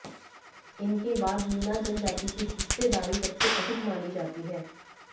इनके बाद मीना जनजाति की हिस्सेदारी सबसे अधिक मानी जाती है